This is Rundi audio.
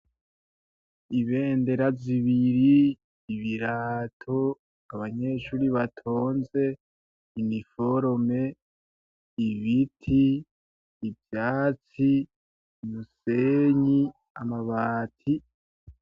Ibendera zibiri, ibirato ,abanyeshure batonze, iniforome, ibiti, ivyatsi, umusenyi ,amabati.